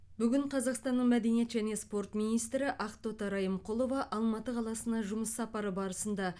бүгін қазақстанның мәдениет және спорт министрі ақтоты райымқұлова алматы қаласына жұмыс сапары барысында